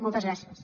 moltes gràcies